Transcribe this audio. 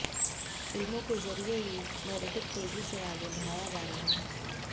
फिल्मों के जरिए ये नैरेटिव तेजी से आगे बढ़ाया जा रहा है